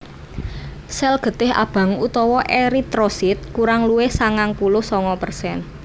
Sel getih abang utawa eritrosit kurang luwih sangang puluh sanga persen